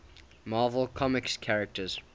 marvel comics characters